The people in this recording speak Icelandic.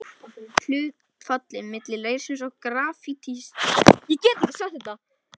Hlutfallið milli leirsins og grafítsins ræður því hversu hart ritblýið verður.